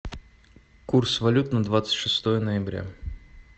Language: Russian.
курс валют на двадцать шестое ноября